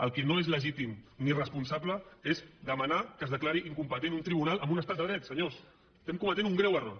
el que no és legítim ni responsable és demanar que es declari incompetent un tribunal en un estat de dret senyors estem cometent un greu error